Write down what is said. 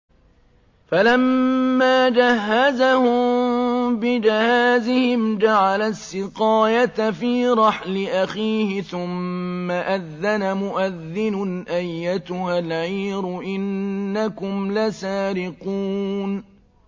فَلَمَّا جَهَّزَهُم بِجَهَازِهِمْ جَعَلَ السِّقَايَةَ فِي رَحْلِ أَخِيهِ ثُمَّ أَذَّنَ مُؤَذِّنٌ أَيَّتُهَا الْعِيرُ إِنَّكُمْ لَسَارِقُونَ